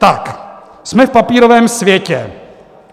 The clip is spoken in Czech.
Tak, jsme v papírovém světě.